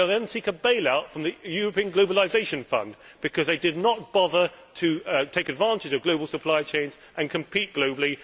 They will seek a bailout from the European Globalisation Fund because they did not bother to take advantage of global supply chains and compete globally